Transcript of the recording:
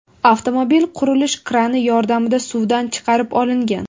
Avtomobil qurilish krani yordamida suvdan chiqarib olingan.